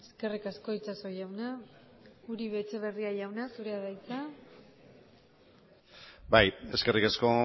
eskerrik asko itxaso jauna uribe etxebarria jauna zurea da hitza bai eskerrik asko